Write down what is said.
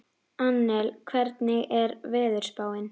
Annel, hvernig er veðurspáin?